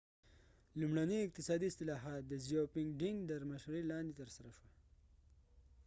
لومړڼي اقتصادي اصلاحات د deng xiaoping تر مشرۍ لاندې ترسره شول